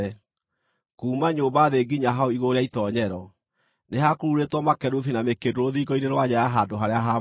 Kuuma nyũmba thĩ nginya hau igũrũ rĩa itoonyero, nĩ ha kururĩtwo makerubi na mĩkĩndũ rũthingo-inĩ rwa nja ya handũ-harĩa-haamũre.